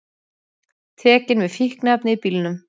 Tekin með fíkniefni í bílnum